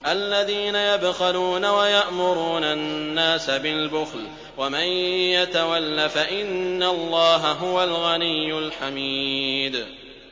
الَّذِينَ يَبْخَلُونَ وَيَأْمُرُونَ النَّاسَ بِالْبُخْلِ ۗ وَمَن يَتَوَلَّ فَإِنَّ اللَّهَ هُوَ الْغَنِيُّ الْحَمِيدُ